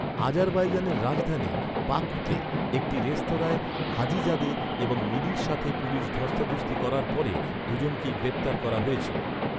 আজারবাইজানের রাজধানী, বাকুতে, একটি রেস্তোরাঁয় হাজিজাদে এবং মিলির সাথে পুলিশ ধস্তাধস্তি করার পরে, দুজনকেই গ্রেপ্তার করা হয়েছিল।